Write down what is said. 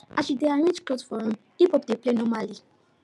as she dey arrange cloth for room hiphop dey play normally